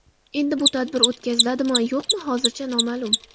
Endi bu tadbir o‘tkaziladimi-yo‘qmi, hozircha noma’lum.